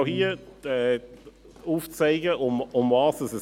Ich versuche auch hier aufzuzeigen, worum es geht.